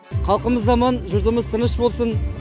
халқымыз аман жұртымыз тыныш болсын